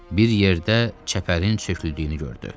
Bir yerdə çəpərin çöküldüyünü gördü.